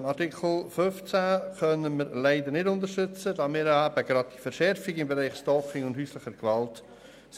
Den Antrag zu Artikel 15 können wir leider nicht unterstützen, da wir im Bereich Stalking und häusliche Gewalt